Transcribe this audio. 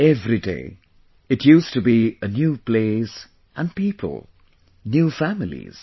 Every day it used to be a new place and people, new families